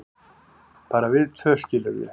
bara við tvö, skilurðu.